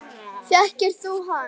Þekkir þú hann?